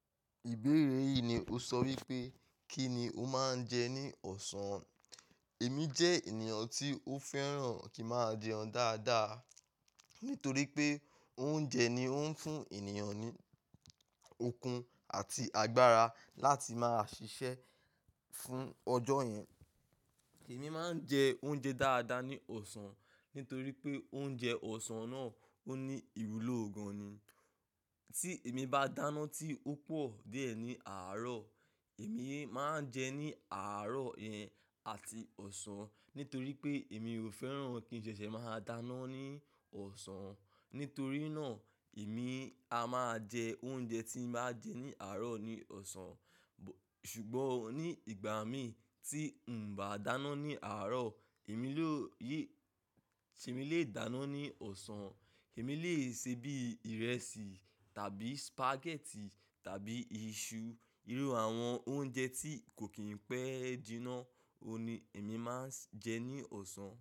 Ìbéèrè yìí ni o sọ wípé, kí ni o máa ń jẹ ní ọ̀sán? Èmi jẹ́ ènìyàn tí ó fẹ́ràn kí máa jẹun dáadáa, nítorí pé oúnjẹ ni ó ń fún ènìyàn ní okun àti agbára láti máa ṣiṣẹ́ fún ọjọ́ yẹn. Èmi máa ń jẹ oúnjẹ dáadáa ní ọ̀sán nítorí pé oúnjẹ ọ̀sán náà ó ní ìwúlò gan-an ni. Tí èmi bá dáná tí ó pọ̀ díẹ̀ ní àárọ̀, èmi máa ń jẹ ní àárọ̀ yẹn àti ọ̀sán nítorí pé èmi ò fẹ́ràn kí n ṣẹ̀ṣẹ̀ máa dáná ní ọ̀sán. Nítorí náà èmi a máa jẹ oúnjẹ tí n bá jẹ ní àárọ̀ ní ọ̀sán. Ṣùgbọ́n ní ìgbà mi tí n bá dáná ní àárọ̀, èmi ló yẹ-- tí mo lè dáná ní ọ̀sán. Èmi lè ṣe bí i ìrẹsì tàbí spaghetti tàbí iṣu. Irú àwọn oúnjẹ tí kò kí n pẹ́ jíná òun ni èmi máa ń jẹ ní ọ̀sán.